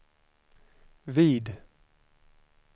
vid